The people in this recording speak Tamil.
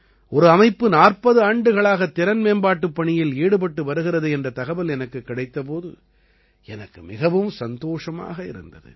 ஒரு அமைப்பு 40 ஆண்டுகளாக திறன் மேம்பாட்டுப் பணியில் ஈடுபட்டு வருகிறது என்ற தகவல் எனக்குக் கிடைத்த போது எனக்கு மிகவும் சந்தோஷமாக இருந்தது